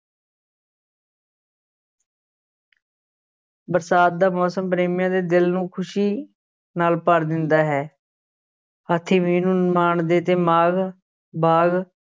ਬਰਸਾਤ ਦਾ ਮੌਸਮ ਪ੍ਰੇਮੀਆਂ ਦੇ ਦਿਲ ਨੂੰ ਖ਼ੁਸ਼ੀ ਨਾਲ ਭਰ ਦਿੰਦਾ ਹੈ, ਹਾਥੀ ਮੀਂਹ ਨੂੰ ਮਾਣਦੇ ਤੇ ਮਾਘ, ਬਾਘ